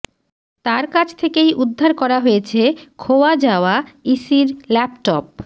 তার কাছ থেকেই উদ্ধার করা হয়েছে খোয়া যাওয়া ইসির ল্যাপটপ